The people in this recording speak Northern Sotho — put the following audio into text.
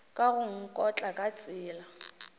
ka go nkotla ka tsela